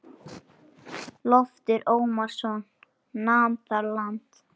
Loftur Ormsson nam þar land.